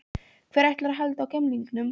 Hver ætlar að halda á gemlingnum?